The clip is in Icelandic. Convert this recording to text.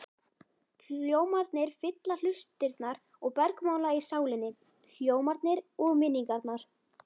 Hljómarnir fylla hlustirnar og bergmála í sálinni, hljómarnir og minningarnar.